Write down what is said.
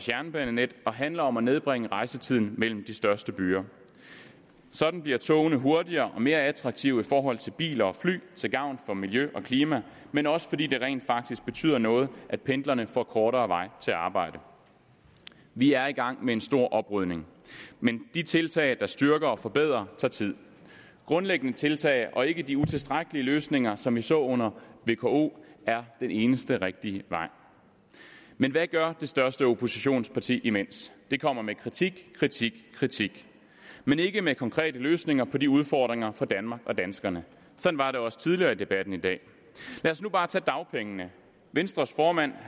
jernbanenettet og handler om at nedbringe rejsetiden mellem de største byer sådan bliver togene hurtigere og mere attraktive i forhold til biler og fly til gavn for miljø og klima men også fordi det rent faktisk betyder noget at pendlerne får kortere vej til arbejde vi er i gang med en stor oprydning men de tiltag der styrker og forbedrer tager tid grundlæggende tiltag og ikke de utilstrækkelige løsninger som vi så under vko er den eneste rigtige vej men hvad gør det største oppositionsparti imens de kommer med kritik kritik kritik men ikke med konkrete løsninger på de udfordringer for danmark og danskerne sådan var det også tidligere i debatten i dag lad os nu bare tage dagpengene venstres formand